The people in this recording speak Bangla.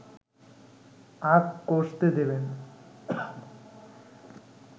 আঁক কষতে দেবেন